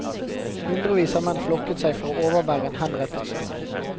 Hundrevis av menn flokket seg for å overvære en henrettelse.